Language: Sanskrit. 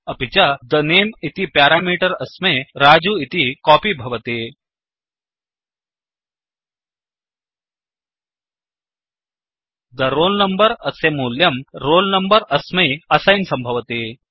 अपि च the name इति प्यारामीटर् अस्मै रजु इति कोपि भवति the roll number अस्य मूल्यं roll number अस्मै असैन् सम्भवति